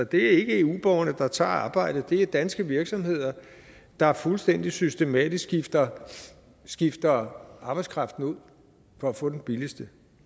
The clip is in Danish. det er ikke eu borgerne der tager arbejdet det er danske virksomheder der fuldstændig systematisk skifter skifter arbejdskraften ud for at få den billigste